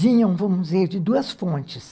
vinham, vamos dizer, de duas fontes.